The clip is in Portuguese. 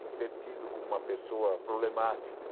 de ser tido como uma pessoa problemática.